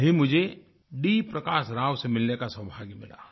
कल ही मुझे डी प्रकाश राव से मिलने का सोभाग्य मिला